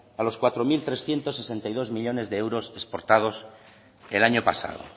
a los cuatro mil trescientos sesenta y dos millónes de euros exportados el año pasado